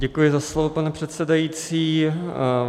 Děkuji za slovo, pane předsedající.